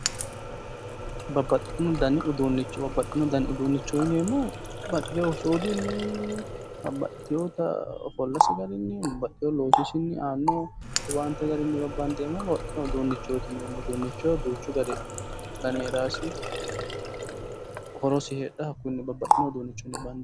Babbaxxino danni uduunicho yinneemmohu babbaxiteyotta suudisinni, babbaxiteyotta ofollasinni ,loosisinni, aano owaante garinni babbaxino uduunichoti yinneemmo, duuchu danni heeranosi ,horosi heedhano babbaxino garinni bandanni